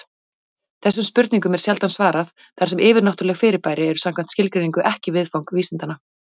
Þessum spurningum er sjaldan svarað, þar sem yfirnáttúruleg fyrirbæri eru samkvæmt skilgreiningu ekki viðfang vísindanna.